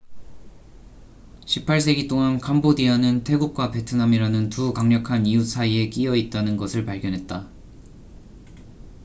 18세기 동안 캄보디아는 태국과 베트남이라는 두 강력한 이웃 사이에 끼여 있다는 것을 발견했다